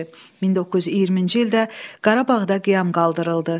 1920-ci ildə Qarabağda qiyam qaldırıldı.